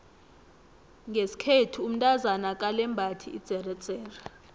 ngeskhethu umtazana akalembathi idzeredzere